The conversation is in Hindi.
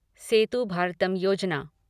सेतु भारतम योजना